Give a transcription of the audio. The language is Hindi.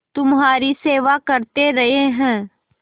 तुम्हारी सेवा करते रहे हैं